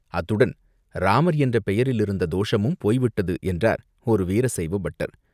அத்துடன் இராமர் என்ற பெயரில் இருந்த தோஷமும் போய்விட்டது!" என்றார் ஒரு வீர சைவ பட்டர்.